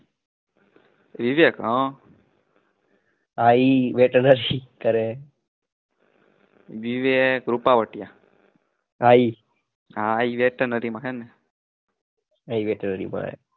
હાં